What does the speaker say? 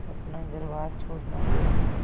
अपना घरबार छोड़ना पड़ा